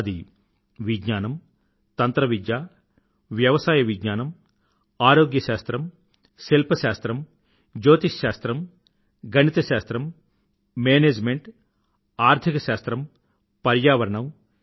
అది విజ్ఞానం తంత్రవిద్య వ్యవసాయ విజ్ఞానం ఆరోగ్య శాస్త్రం శిల్పశాస్త్రం జ్యోతిశ్శాస్త్రం గణిత శాస్త్రం మేనేజ్మెంట్ ఆర్థికశాస్త్రం పర్యావరణం